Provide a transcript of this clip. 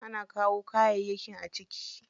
Ana kawo kayayyaki a ciki.